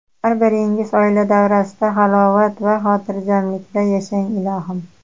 Har biringiz oila davrasida halovat va xotirjamlikda yashang, ilohim.